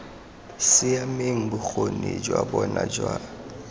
siameng bokgoni jwa bona jwa